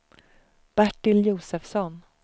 Bertil Josefsson